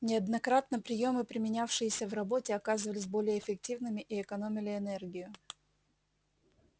неоднократно приёмы применявшиеся в работе оказывались более эффективными и экономили энергию